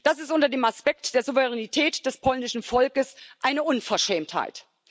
Das ist unter dem Aspekt der Souveränität des polnischen Volkes eine Unverschämtheit.